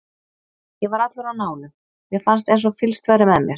Ég var allur á nálum, mér fannst eins og fylgst væri með mér.